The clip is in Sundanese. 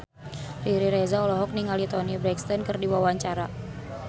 Riri Reza olohok ningali Toni Brexton keur diwawancara